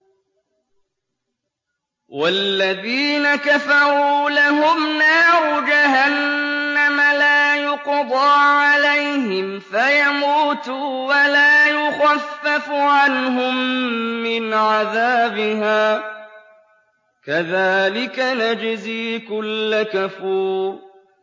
وَالَّذِينَ كَفَرُوا لَهُمْ نَارُ جَهَنَّمَ لَا يُقْضَىٰ عَلَيْهِمْ فَيَمُوتُوا وَلَا يُخَفَّفُ عَنْهُم مِّنْ عَذَابِهَا ۚ كَذَٰلِكَ نَجْزِي كُلَّ كَفُورٍ